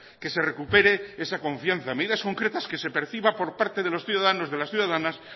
que se recupere esa confianza medidas concretas que se perciba por parte de los ciudadanos de las ciudadanas